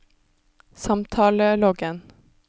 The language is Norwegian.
samtaleloggen